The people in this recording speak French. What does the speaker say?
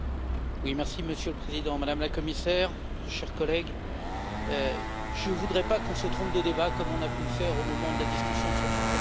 Monsieur le Président, Madame la Commissaire, chers collègues, je ne voudrais pas que l'on se trompe de débat comme on a pu le faire au moment de la discussion sur le secret des affaires.